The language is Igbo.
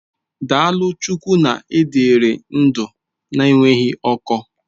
Daalụ Chukwu na ị dịrị ndụ na-enweghị ọkọ.